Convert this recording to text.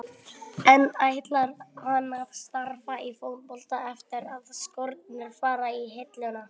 En ætlar hann að starfa í fótboltanum eftir að skórnir fara á hilluna?